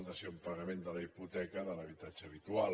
dació en pagament de la hipoteca de l’habitatge habitual